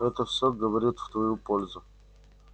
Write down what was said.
это всё говорит в твою пользу